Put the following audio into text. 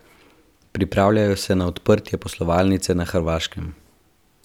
Pripravljajo se na odprtje poslovalnice na Hrvaškem.